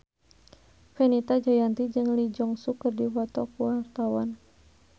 Fenita Jayanti jeung Lee Jeong Suk keur dipoto ku wartawan